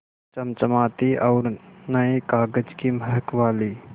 चमचमाती और नये कागज़ की महक वाली